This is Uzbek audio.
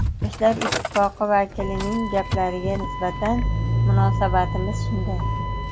Yoshlar ittifoqi vakilining gaplariga nisbatan munosabatimiz shunday.